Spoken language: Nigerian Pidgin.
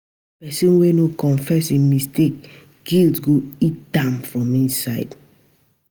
Pesin wey no confess im mistake, guilt go eat am from inside.